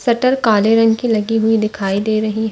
Shutter काले रंग की दिखाई दे रही है।